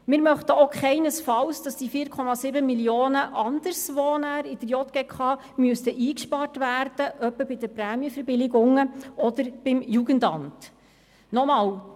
Wir möchten auch keinesfalls, dass diese 4,7 Mio. Franken an einem anderen Ort in der JGK wie beispielsweise den Prämienverbilligungen oder dem Jugendamt eingespart werden müssten.